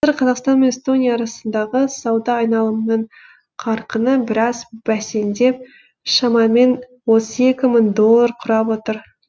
қазір қазақстан мен эстония арасындағы сауда айналымының қарқыны біраз бәсеңдеп шамамен отыз екі мың долларды құрап отыр